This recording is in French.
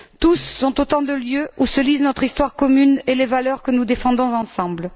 Tous sont autant de lieux où se lisent notre histoire commune et les valeurs que nous défendons ensemble.